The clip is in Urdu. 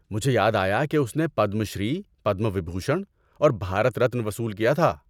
مجھے یاد آیا کہ اس نے پدم شری، پدما وبھوشن اور بھارت رتن وصول کیا تھا۔